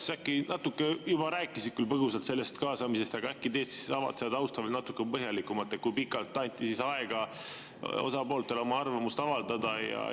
Sa natuke juba rääkisid põgusalt sellest kaasamisest, aga äkki avad seda tausta natuke põhjalikumalt, kui pikalt anti osapooltele aega oma arvamust avaldada?